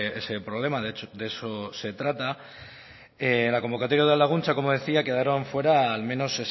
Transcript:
ese problema de eso se trata en la convocatoria de udalaguntza como decía quedaron fuera al menos